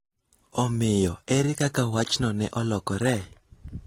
Omiyo, ere kaka wachno ne olokore?